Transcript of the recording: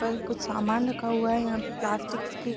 और कुछ समान रखा हुआ है यहाँ पर प्लास्टिक्स की --